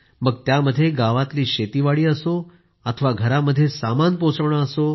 मग त्यामध्ये गावातल्या शेती असो अथवा घरामध्ये सामान पोहोचवणे असो